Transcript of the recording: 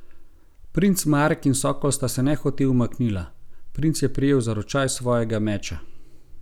Princ Marek in Sokol sta se nehote umaknila, princ je prijel za ročaj svojega meča.